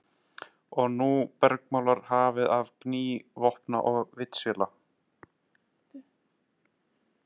Og nú bergmálar hafið af gný vopna og vítisvéla.